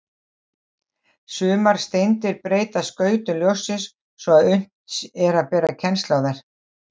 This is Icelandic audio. Sumar steindir breyta skautun ljóssins svo að unnt er að bera kennsl á þær.